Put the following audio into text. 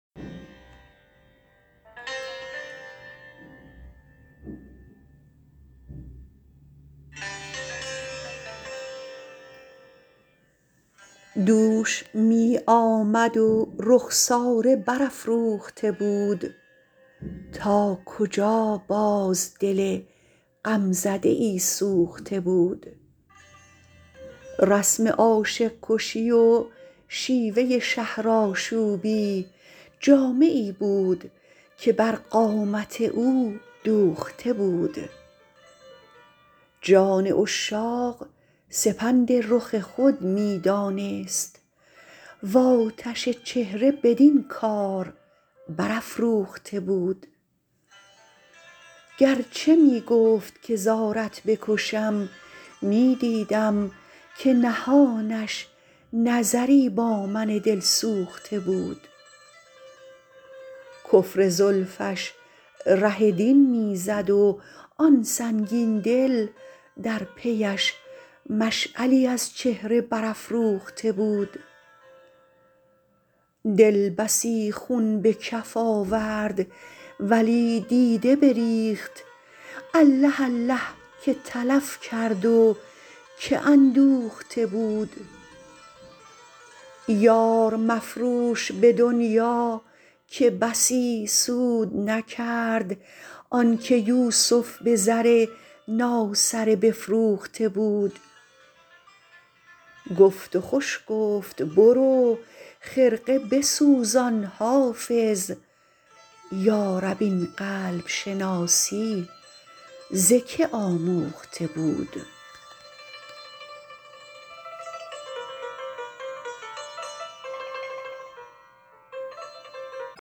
دوش می آمد و رخساره برافروخته بود تا کجا باز دل غمزده ای سوخته بود رسم عاشق کشی و شیوه شهرآشوبی جامه ای بود که بر قامت او دوخته بود جان عشاق سپند رخ خود می دانست و آتش چهره بدین کار برافروخته بود گر چه می گفت که زارت بکشم می دیدم که نهانش نظری با من دلسوخته بود کفر زلفش ره دین می زد و آن سنگین دل در پی اش مشعلی از چهره برافروخته بود دل بسی خون به کف آورد ولی دیده بریخت الله الله که تلف کرد و که اندوخته بود یار مفروش به دنیا که بسی سود نکرد آن که یوسف به زر ناسره بفروخته بود گفت و خوش گفت برو خرقه بسوزان حافظ یا رب این قلب شناسی ز که آموخته بود